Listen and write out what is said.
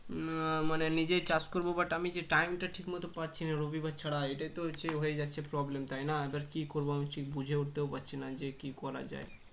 উম মানে নিজেই চাষ করব but আমি যে time টা ঠিকমত পাচ্ছি না রবিবার ছাড়া এটাই তো হচ্ছে হয়ে যাচ্ছে problem তাই না এবার কী করব আমি কিছুই বুঝে উঠতে পারছি না যে কী করা যায়